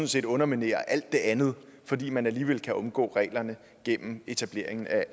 set underminerer alt det andet fordi man alligevel kan omgå reglerne gennem etablering af